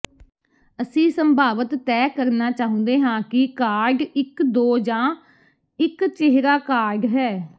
ਅਸੀਂ ਸੰਭਾਵਤ ਤੈਅ ਕਰਨਾ ਚਾਹੁੰਦੇ ਹਾਂ ਕਿ ਕਾਰਡ ਇੱਕ ਦੋ ਜਾਂ ਇੱਕ ਚਿਹਰਾ ਕਾਰਡ ਹੈ